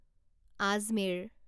Ajmer